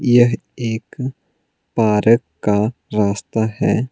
यह एक पारक का रास्ता है।